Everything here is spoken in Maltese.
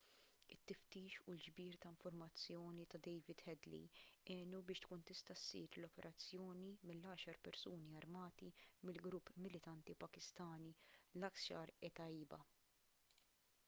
it-tiftix u l-ġbir ta' informazzjoni ta' david headley għenu biex tkun tista' ssir l-operazzjoni mill-10 persuni armati mill-grupp militanti pakistani laskhar-e-taiba